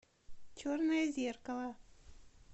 черное зеркало